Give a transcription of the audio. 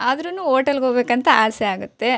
ಆದ್ರೂನು ಹೋಟೆಲ್ ಗೆ ಹೋಗ್ಬೇಕು ಅಂತ ಆಸೆ ಆಗುತ್ತೆ.